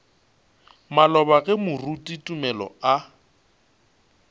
maloba ge moruti tumelo a